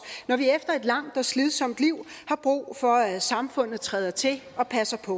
når vi efter et langt og slidsomt liv har brug for at samfundet træder til og passer på